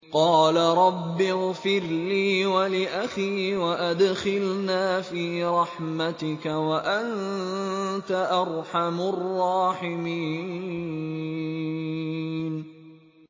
قَالَ رَبِّ اغْفِرْ لِي وَلِأَخِي وَأَدْخِلْنَا فِي رَحْمَتِكَ ۖ وَأَنتَ أَرْحَمُ الرَّاحِمِينَ